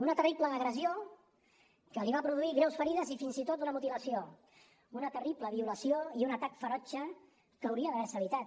una terrible agressió que li va produir greus ferides i fins i tot una mutilació una terrible violació i un atac ferotge que hauria d’haver se evitat